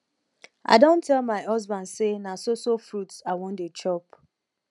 i don tell my husband say na so so fruit i wan dey chop